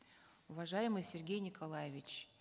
уважаемый сергей николаевич